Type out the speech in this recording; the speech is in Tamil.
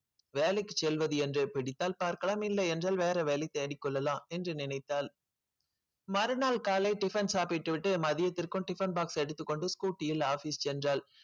வேலைக்கு செல்வது என்றே பிடித்தால் பார்க்கலாம் இல்லை என்றால் வேற வேலை தேடிக் கொள்ளலாம் என்று நினைத்தாள் மறுநாள் காலை டிபன் சாப்பிட்டுவிட்டு மதியத்திற்கும் டிபன் box எடுத்துக் கொண்டு ஸ்கூட்டியில் office சென்றாள்